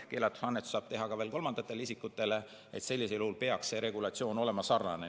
Keelatud annetuse saab teha ka kolmandatele isikutele ja sellisel juhul peaks see regulatsioon olema sarnane.